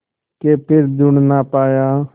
के फिर जुड़ ना पाया